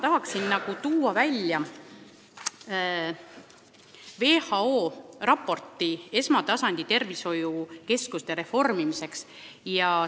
Tahan siinkohal välja tuua WHO raporti esmatasandi tervishoiukeskuste reformimise kohta.